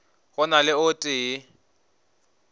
go na le o tee